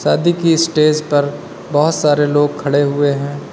शादी की स्टेज पर बहुत सारे लोग खड़े हुए हैं।